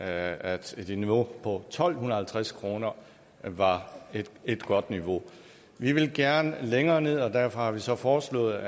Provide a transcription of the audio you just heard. at et niveau på tolv halvtreds kroner var et godt niveau vi ville gerne gå længere ned og derfor har vi så foreslået